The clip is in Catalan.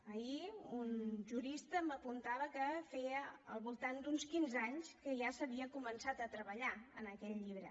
ahir un jurista m’apuntava que feia al voltant d’uns quinze anys que ja s’havia començat a treballar en aquest llibre